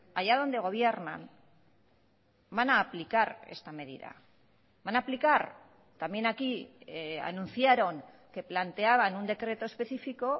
haya donde gobiernan van a aplicar esta medida van a aplicar también aquí anunciaron que planteaban un decreto especifico